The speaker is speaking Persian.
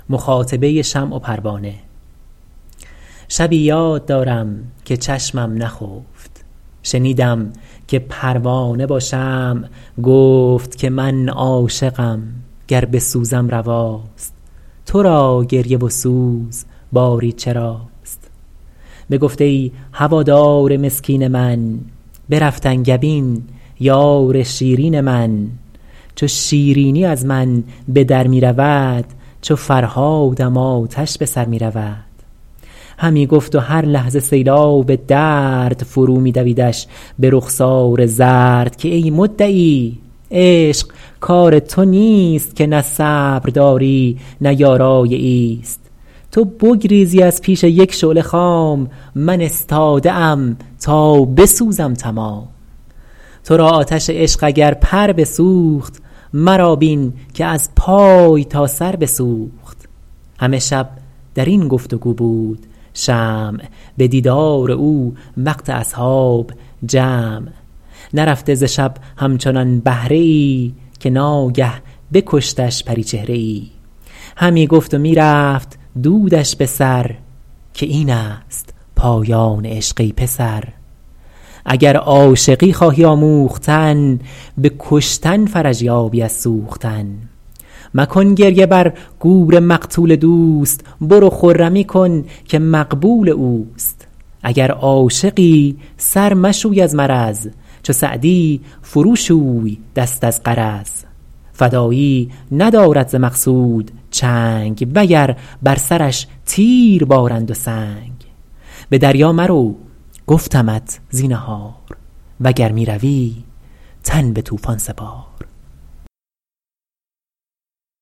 شبی یاد دارم که چشمم نخفت شنیدم که پروانه با شمع گفت که من عاشقم گر بسوزم رواست تو را گریه و سوز باری چراست بگفت ای هوادار مسکین من برفت انگبین یار شیرین من چو شیرینی از من به در می رود چو فرهادم آتش به سر می رود همی گفت و هر لحظه سیلاب درد فرو می دویدش به رخسار زرد که ای مدعی عشق کار تو نیست که نه صبر داری نه یارای ایست تو بگریزی از پیش یک شعله خام من استاده ام تا بسوزم تمام تو را آتش عشق اگر پر بسوخت مرا بین که از پای تا سر بسوخت همه شب در این گفت و گو بود شمع به دیدار او وقت اصحاب جمع نرفته ز شب همچنان بهره ای که ناگه بکشتش پریچهره ای همی گفت و می رفت دودش به سر که این است پایان عشق ای پسر اگر عاشقی خواهی آموختن به کشتن فرج یابی از سوختن مکن گریه بر گور مقتول دوست برو خرمی کن که مقبول اوست اگر عاشقی سر مشوی از مرض چو سعدی فرو شوی دست از غرض فدایی ندارد ز مقصود چنگ و گر بر سرش تیر بارند و سنگ به دریا مرو گفتمت زینهار وگر می روی تن به طوفان سپار